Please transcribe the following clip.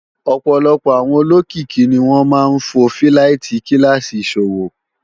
ọ̀pọ̀lọpọ̀ àwọn olókìkí ni wọ́n máa ń fò fíláìtí kíláàsì ìṣòwò